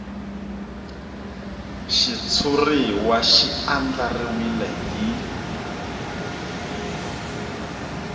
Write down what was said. xitshuriwa xi andlariwile hi